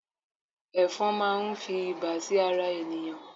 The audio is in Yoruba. efòn ma n fi iba sí ara ènìyàn